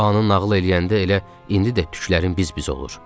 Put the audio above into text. O anı nağıl eləyəndə elə indi də tüklərim biz-biz olur.